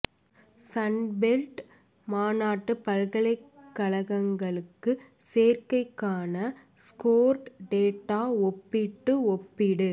Sun belt மாநாட்டு பல்கலைக்கழகங்களுக்கு சேர்க்கைக்கான ஸ்கோர் டேட்டா ஒப்பீட்டு ஒப்பீடு